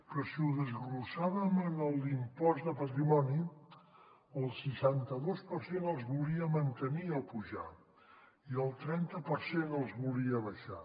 però si ho desglossem en l’impost de patrimoni el seixanta dos per cent els volia mantenir o apujar i el trenta per cent els volia abaixar